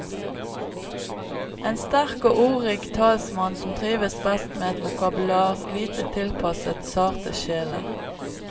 En sterk og ordrik talsmann, som trives best med et vokabular lite tilpasset sarte sjeler.